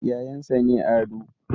Yayansa ne Ado